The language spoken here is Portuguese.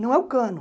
Não é o cano.